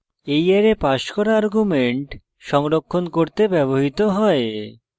এই array passed করা arguments সংরক্ষণ করতে ব্যবহৃত হয়